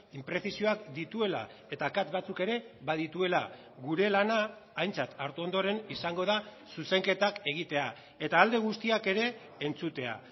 inprezisioak dituela eta akats batzuk ere badituela gure lana aintzat hartu ondoren izango da zuzenketak egitea eta alde guztiak ere entzutea